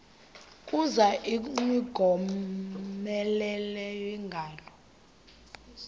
kuza ingowomeleleyo ingalo